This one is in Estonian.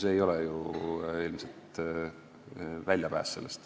See ei oleks ju ilmselt olnud väljapääs.